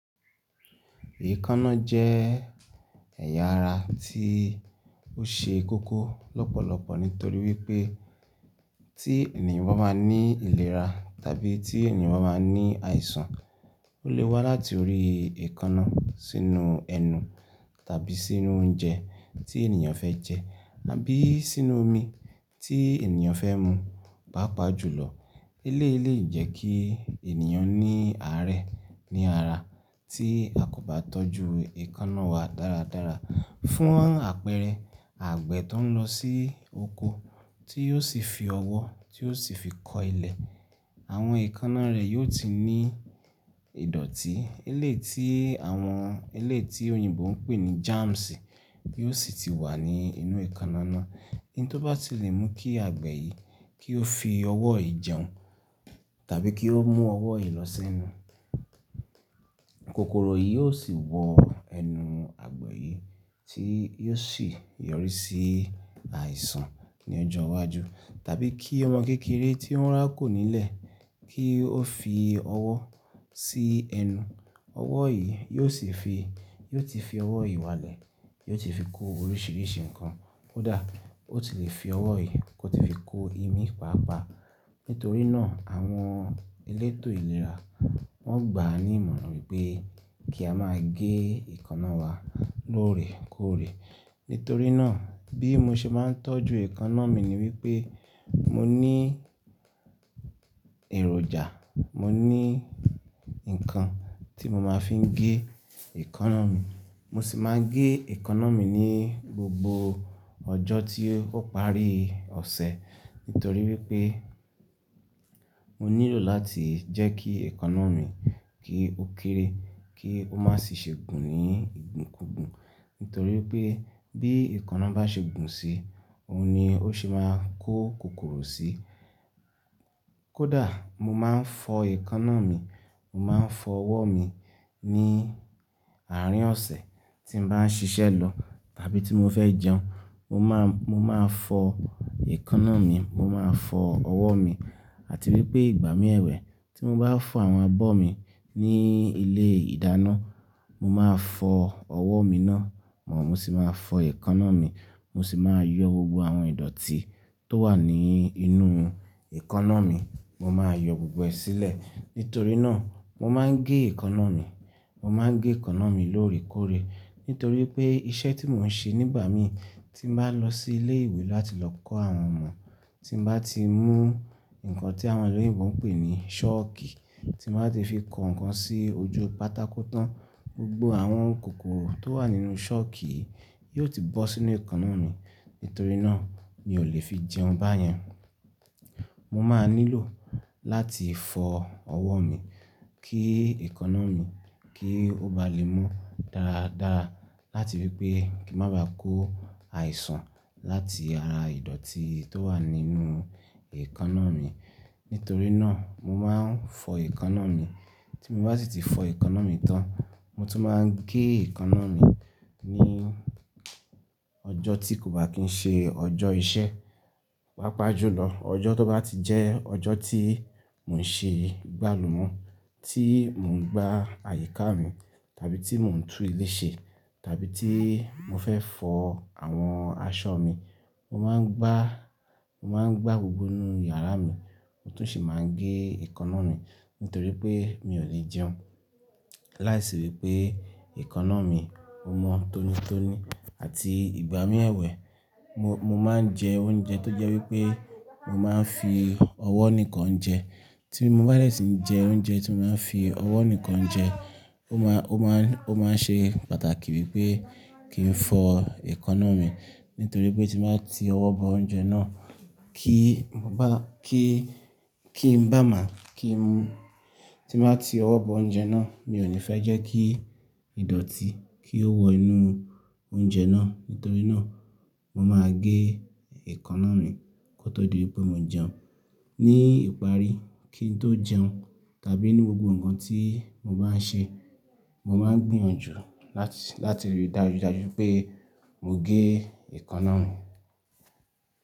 Èékánná jẹ́ ẹ̀yà ara tí ó ṣe kókó lọ́pọ̀lọpọ̀ nítorí wípé tí ènìyàn bá máa ní ìlera tàbí tí ènìyàn bá máa ní àìsàn, ó lè wá láti orí èékánná sínú ẹnu tàbí sínú oúnjẹ tí ènìyàn fẹ́ jẹ, àbí sínú omi tí ènìyàn fẹ́ mu. Pápá jùlọ, eléyìí lè jẹ́ kí ènìyàn ní àárẹ̀ ní ara tí a kò bá tọ́jú èékánná wa dáradára. Fún àpẹẹrẹ, àgbẹ̀ tó ń lọ sí oko tí yóò sì fi ọwọ́ tí yóò sì fi kọ ilẹ̀, àwọn èékánná rẹ̀ yóò ti ní ìdọ̀tí eléyìí tí àwọn eléyìí tí òyìnbó ń pè ní germs yóò sì ti wà ní inú èékánná náà. Oun tó bá ti lè mú kí àgbẹ̀ yìí kí ó fi ọwọ́ yìí jẹun tàbí kí ó mú ọwọ́ yìí lọ sẹ́nu, kòkòrò yìí ó sì wọ ẹnu àgbẹ̀ yìí tí yóò sì yọrí sí àìsàn ní ọjọ́ iwájú. Tàbí kí ọmọ kékeré tí ó ń rákò nílẹ̀ kí ó fi ọwọ́ sí ẹnu, ọwọ́ yìí yóò sì fi, yóò ti fi ọwọ́ yìí wálẹ̀, yóò ti fi kó oríṣìíríṣìí nǹkan. Ó dà, ó ti lè fi ọwọ́ yìí kó ti fi kó imí, pàápàá. Nítorí náà àwọn elétò ìlera wọ́n gbà á ní ìmọ̀ràn wípé kí a máa gé èékánná wa lóòrè kóòrè. Nítorí náà bí mo ṣe máa ń tọ́jú èékánná mi ni wípé mo ní èròjà, mo ní ǹkan tí mo máa fi ń gé èékánná mi. Mo sì máa ń gé èékánná mi ní gbogbo ọjọ́ tí ó parí ọ̀sẹ̀ nítorí wípé mo nílò láti jẹ́ kí èékánná mi kí ó kéré, kí ó má sì ṣe gùn ní ìgùnkùgùn. Nítorí wípé bí èékánná bá ṣe gùn sí, òun ni ó ṣe máa ń kó kòkòrò sí. Kódà mo máa ń fọ èékánná mi, mo máa ń fọ ọwọ́ mi ní àárín ọ̀sẹ̀ tí mo bá ń ṣiṣẹ́ lọ tàbí tí mo fẹ́ jẹun, mo máa, mo máa fọ èékánná mi, mo máa fọ ọwọ́ mi. Àti wípé ìgbà mí ẹ̀wẹ́ tí mo bá fọ àwọn abọ́ mi ní ilé ìdáná, mo máa fọ ọwọ́ mi náà mọ́, mo sì máa fọ èékánná mi, mo sì máa yọ gbogbo àwọn ìdọ̀tí tó wà ní inú èékánná mi, mo máa yọ gbogbo ẹ̀ sílẹ̀. Nítorí náà mo máa ń gé èékánná mi, mo máa ń gé èékánná mi lóòrè kóòrè. Nítorí pé iṣẹ́ tí mò ń ṣe nígbà mí tí mo bá lọ sí ilé ìwé láti lọ kọ́ àwọn ọmọ, tí mo bá ti mú ǹkan tí àwọn olóyìnbo ń pè ní sooki tí mo bá ti fi kọ ǹkan sí ojú pátákó tán, gbogbo àwọn kòkòrò tó wà nínú sooki yìí yóò ti bọ́ sínú èékánná mi. Nítorí náà mi ò lè fi jẹun bá yẹn. Mo máa nílò láti fọ ọwọ́ mi kí èékánná mi kí ó ba lè mú dáradára láti wípé kí n má ba à kó àìsàn láti ara ìdọ̀tí tó wà nínú èékánná mi. Nítorí náà mo máa ń fọ èékánná mi. Tí mo bá sì ti fọ èékánná mi tán, mo tún máa ń gé èékánná mi ní ọjọ́ tí kò bá kí ń ṣe ọjọ́ iṣẹ́. Pápá jùlọ ọjọ́ tó bá ti jẹ́ ọjọ́ tí mò ń ṣe gbálùmo, tí mò ń gba àyíká mi tàbí tí mò ń tún ilé ṣe tàbí tí mo fẹ́ fọ àwọn aṣọ mi, mo máa ń gbá, mo máa ń gbá gbogbo inú yàrá mi, mo tún sì máa ń gé èékánná mi nítorí pé mi ò lè jẹun láìsí wípé èékánná mi o mọ́ tónítóní. Àti ìgbà mí ẹ̀wẹ́, mo, mo máa ń jẹ oúnjẹ tó jẹ́ wípé mo máa ń fi ọwọ́ nìkan jẹ. Tí mo bá dè sì ń jẹ oúnjẹ tí mo máa ń fi ọwọ́ nìkan jẹ, ó máa, ó máa ń ṣe pàtàkì wípé kí n fọ èékánná mi nítorí pé tí màá ti ọwọ́ bọ oúnjẹ náà kí n bá, kí, kí n bá máa, kí n, tí màá ti ọwọ́ bọ oúnjẹ náà mi ò ní fẹ́ jẹ́ kí ìdọ̀tí kí ó wọ inú oúnjẹ náà. Nítorí náà mo máa gé èékánná mi kó tó di wípé mo jẹun. Ní ìparí kí n tó jẹun tàbí nínú gbogbo ǹkan tí mo bá ń ṣe, mo máa ń gbìyànjú láti, láti rí dájúdájú pé mo gé èékánná mi.